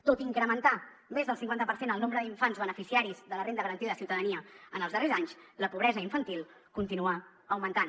tot i incrementar més del cinquanta per cent el nombre d’infants beneficiaris de la renda garantida de ciutadania en els darrers anys la pobresa infantil continua augmentant